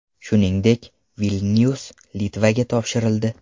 Shuningdek, Vilnyus Litvaga topshirildi.